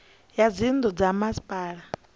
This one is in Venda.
ya dzinnu dza ha masipala